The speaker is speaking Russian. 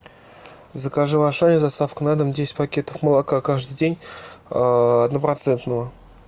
закажи в ашане с доставкой на дом десять пакетов молока каждый день однопроцентного